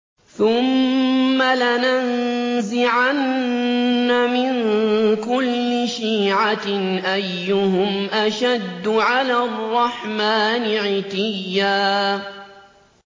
ثُمَّ لَنَنزِعَنَّ مِن كُلِّ شِيعَةٍ أَيُّهُمْ أَشَدُّ عَلَى الرَّحْمَٰنِ عِتِيًّا